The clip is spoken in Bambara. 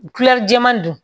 jɛman don